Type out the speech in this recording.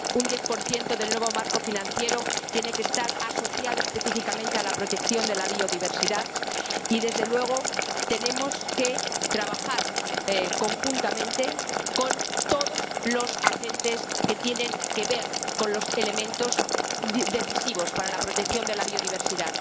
Un 10 del nuevo marco financiero tiene que estar asociado específicamente a la protección de la biodiversidad y, desde luego, tenemos que trabajar conjuntamente con todos los agentes que tienen que ver con los elementos decisivos para la protección de la biodiversidad.